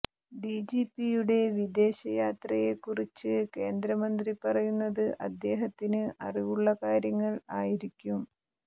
ഡിജിപിയുടെ വിദേശയാത്രയെക്കുറിച്ച് കേന്ദ്ര മന്ത്രി പറയുന്നത് അദ്ദേഹത്തിന് അറിവുള്ള കാര്യങ്ങൾ ആയിരിക്കും